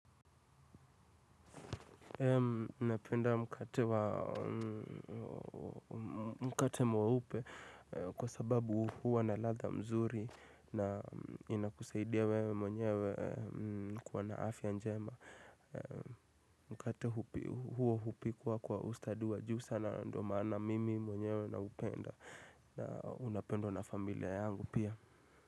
Napenda mkate mwwupe kwa sababu huwa na latha mzuri na inakusaidia wewe mwenyewe kuwa na afya njema. Mkate huo hupikwa kwa ustadi wa juu sana na ndo maana mimi mwenyewe na upenda na unapendwa na familia yangu pia.